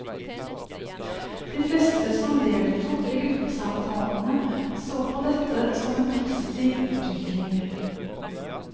De fleste som deltok i gruppesamtalene så på dette som en positiv utvikling.